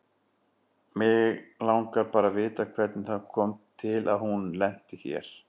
Mig langar bara að vita hvernig það kom til að hún lenti hér.